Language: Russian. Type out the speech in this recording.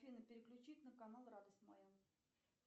афина переключить на канал радость моя